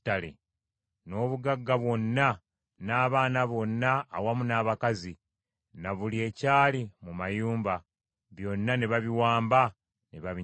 N’obugagga bwonna, n’abaana bonna awamu n’abakazi, na buli ekyali mu mayumba, byonna ne babiwamba ne babinyaga.